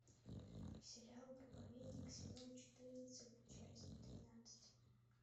сериал проповедник сезон четырнадцать часть тринадцать